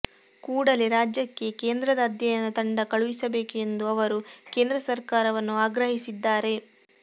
ಕೂಡಲೇ ರಾಜ್ಯಕ್ಕೆ ಕೇಂದ್ರದ ಅಧ್ಯಯನ ತಂಡ ಕಳುಹಿಸಬೇಕು ಎಂದು ಅವರು ಕೇಂದ್ರ ಸರಕಾರವನ್ನು ಆಗ್ರಹಿಸಿದ್ದಾರೆ